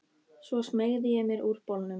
Svo smeygði ég mér úr bolnum.